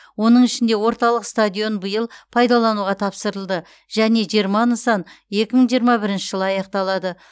оның ішінде орталық стадион биыл пайдалануға тапсырылды және жиырма нысан екі мың жиырма бірінші жылы аяқталады